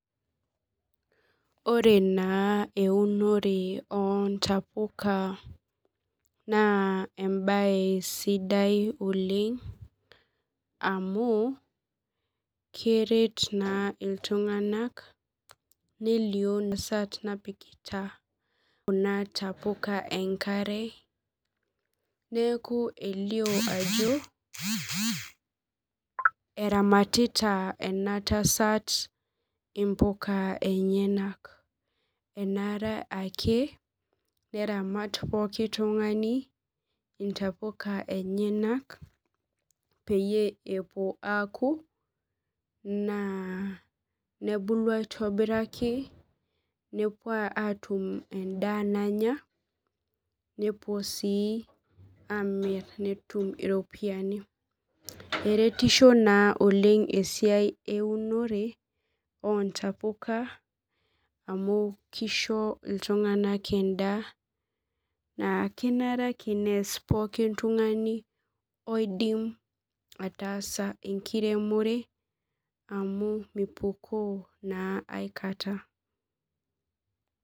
Ore naa eunore oontapuka naa embaye sidai oleng amu keret naa iltung'anak nelio entsat nepikita kuna tapuka enkare neeku keitodolu ajo eramatita ena tasat intapuka enyenak enaare naa keramat pooki tung'ani intapuka enyenak peepuo aaku peetum endaa nanya nepuo sii amir netum iropiyiani eretisho naa oleng esiai eunore oontapuka neisho iltung'anak endaa enare naa ake neisho oltung'ani oidim ataasa enkiremore amu mipukoo naa aikata